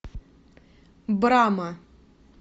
брама